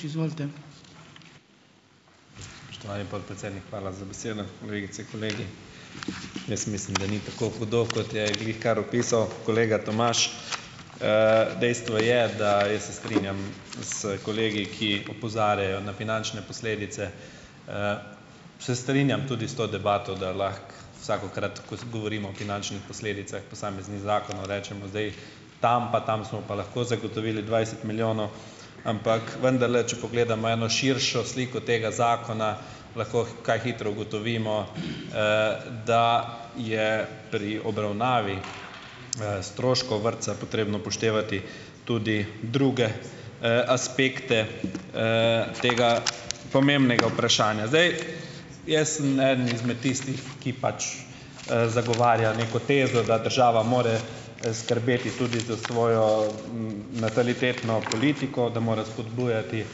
Spoštovani podpredsednik, hvala za besedo. Kolegice, kolegi, jaz mislim, da ni tako hudo, kot je glihkar opisal kolega Tomaž. dejstvo je, da jaz se strinjam s kolegi, ki opozarjajo na finančne posledice. Se strinjam tudi s to debato, da lahko vsakokrat, ko govorimo o finančnih posledicah posameznih zakonov, rečemo, zdaj tam pa tam smo pa lahko zagotovili dvajset milijonov, ampak vendarle, če pogledamo eno širšo sliko tega zakona, lahko kaj hitro ugotovimo, da je pri obravnavi stroškov vrtca potrebno upoštevati tudi druge, aspekte, tega pomembnega vprašanja. Zdaj, jaz sem eden izmed tistih, ki pač, zagovarja neko tezo, da država mora, skrbeti tudi za svojo, natalitetno politiko, da mora spodbujati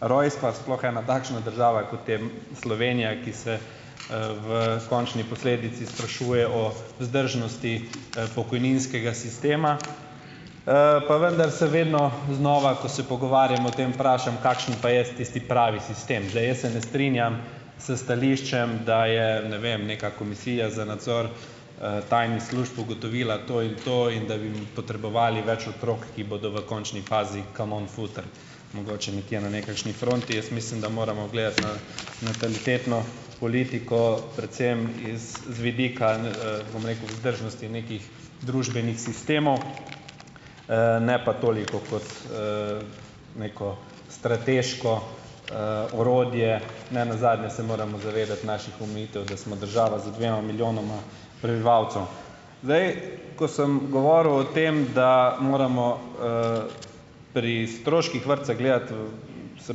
rojstva, sploh ena takšna država, kot je Slovenija, ki se, v končni posledici sprašuje o vzdržnosti, pokojninskega sistema. pa vendar se vedno znova, ko se pogovarjam o tem, vprašam, kakšen pa je tisti pravi sistem. Zdaj, jaz se ne strinjam s stališčem, da je, ne vem, neka komisija za nadzor, tajnih služb ugotovila to in to in da bi potrebovali več otrok, ki bodo v končni fazi "kanon futer", mogoče nekje na nekakšni fronti. Jaz mislim, da moramo gledati na natalitetno politiko, predvsem iz z vidika, bom rekel, vzdržnosti nekih družbenih sistemov, ne pa toliko kot, neko strateško, orodje, ne nazadnje se moramo zavedati naših omejitev, da smo država z dvema milijonoma prebivalcev. Zdaj, ko sem govoril o tem, da moramo, pri stroških vrtca gledati v, se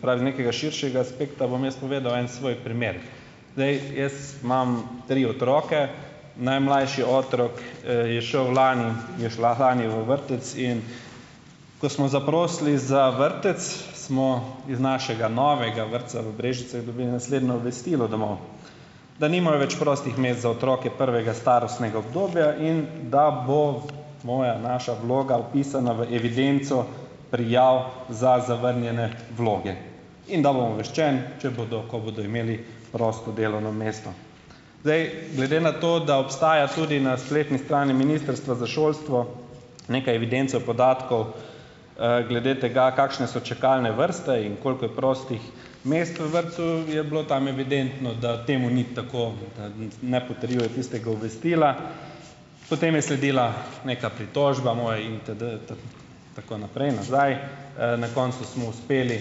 pravi, z nekega širšega aspekta, bom jaz povedal en svoj primer. Zdaj, jaz imam tri otroke. Najmlajši otrok, je šel lani, je šla lani v vrtec, in ko smo zaprosili za vrtec smo, iz našega novega vrtca v Brežicah, dobili naslednjo obvestilo domov - da nimajo več prostih mest za otroke prvega starostnega obdobja in da bo moja, naša, vloga vpisana v evidenco prijav za zavrnjene vloge in da bom obveščen, če bodo, ko bodo imeli prosto delovno mesto. Zdaj, glede na to, da obstaja tudi na spletni strani Ministrstva za šolstvo neka evidenca podatkov, glede tega, kakšne so čakalne vrste in koliko je prostih mest v vrtcu, je bilo tam evidentno, da temu ni tako, da ne potrjuje tistega obvestila. Potem je sledila neka pritožba moja in ... tako naprej, nazaj. na koncu smo uspeli,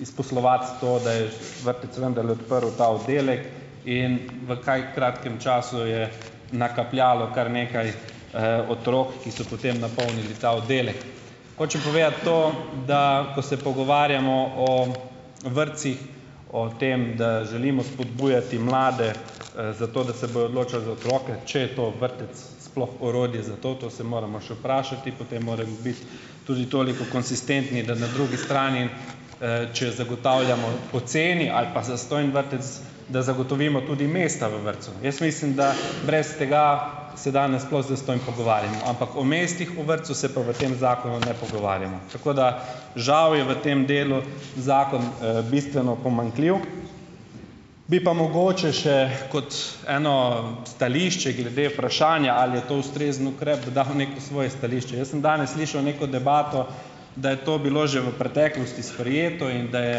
izposlovati to, da je vrtec vendarle odprl ta oddelek in v kaj kratkem času je nakapljalo kar nekaj, otrok, ki so potem napolnili ta oddelek. Hočem povedati to, da, ko se pogovarjamo o vrtcih, o tem, da želimo spodbujati mlade za to, da se bojo odločali za otroke, če je to vrtec sploh orodje za to, to se moramo še vprašati, potem moremo biti tudi toliko konsistentni, da na drugi strani, če zagotavljamo poceni ali pa zastonj vrtec, da zagotovimo tudi mesta v vrtcu. Jaz mislim, da brez tega se danes sploh zastonj pogovarjamo, ampak o mestih v vrtcu se pa v tem zakonu ne pogovarjamo. Tako da žal je v tem delu zakon, bistveno pomanjkljiv, bi pa mogoče še kot eno stališče glede vprašanja, ali je to ustrezen ukrep, dodal neko svoje stališče. Jaz sem danes slišal neko debato, da je to bilo že v preteklosti sprejeto in da je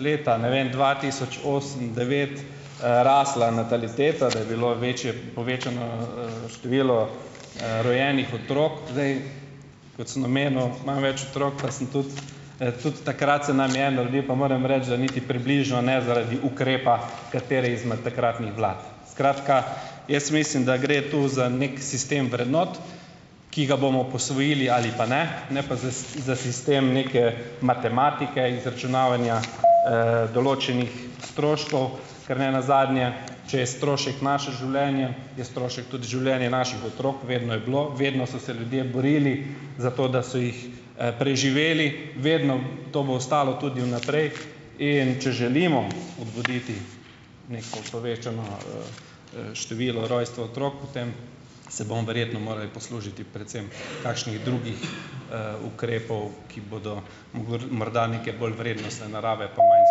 leta, ne vem, dva tisoč osem, devet, rasla nataliteta, da je bilo večje povečano, število, rojenih otrok. Zdaj, kot sem omenil, imam več otrok pa sem tudi, tudi takrat se nam je en rodil pa moram reči, da niti približno ne zaradi ukrepa katere izmed takratnih vlad, skratka, jaz mislim, da gre tu za neki sistem vrednot, ki ga bomo posvojili ali pa ne, ne pa za za sistem neke matematike, izračunavanja, določenih stroškov, ker ne nazadnje, če je strošek naše življenje, je strošek tudi življenje naših otrok. Vedno je bilo, vedno so se ljudje borili za to, da so jih, preživeli, vedno, to bo ostalo tudi vnaprej, in če želimo obuditi neko povečano, število rojstva otrok, potem se bomo verjetno morali poslužiti predvsem kakšnih drugih, ukrepov, ki bodo morda neke bolj vrednostne narave pa manj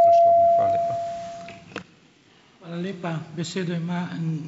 stroškovni. Hvala lepa.